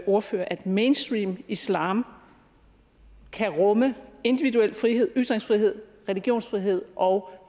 ordfører at mainstream islam kan rumme individuel frihed ytringsfrihed religionsfrihed og